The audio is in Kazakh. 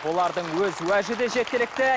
олардың өз уәжі де жеткілікті